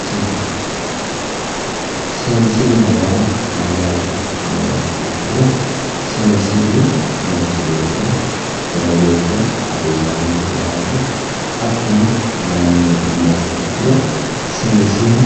Seessile, seensilleho yaa mayyaate yiniha ikkiro seensillu manchi beettira jawa geeshsha hasiissanno yaate, hakkuno, mayyiinni yiniha ikkiro seensiha